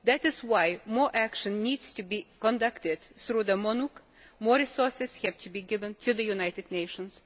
That is why more action needs to be conducted through the MONUC and more resources have to be given to the United Nations.